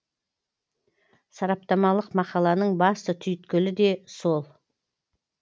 сараптамалық мақаланың басты түйіткілі де сол